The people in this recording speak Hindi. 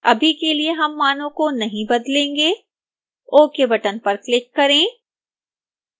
अभी के लिए हम मानों को नहीं बदलेंगे ok बटन पर क्लिक करें